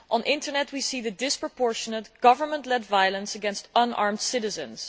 On the Internet we can see the disproportionate, government led violence against unarmed citizens.